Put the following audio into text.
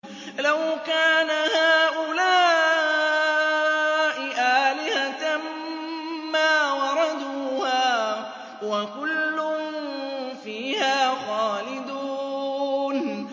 لَوْ كَانَ هَٰؤُلَاءِ آلِهَةً مَّا وَرَدُوهَا ۖ وَكُلٌّ فِيهَا خَالِدُونَ